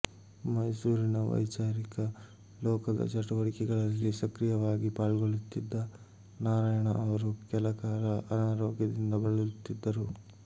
ಮೈಸೂರಿನ ವೈಚಾರಿಕ ಲೋಕದ ಚಟುವಟಿಕೆಗಳಲ್ಲಿ ಸಕ್ರಿಯವಾಗಿ ಪಾಲ್ಗೊಳ್ಳುತ್ತಿದ್ದ ನಾರಾಯಣ ಅವರು ಕೆಲ ಕಾಲ ಅನಾರೋಗ್ಯದಿಂದ ಬಳಲುತ್ತಿದ್ದರು